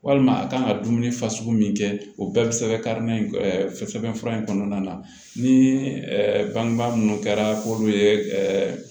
Walima a kan ka dumuni fasugu min kɛ o bɛɛ bɛ sɛbɛn karilen sɛbɛn fura in kɔnɔna na ni bangebaa minnu kɛra k'olu ye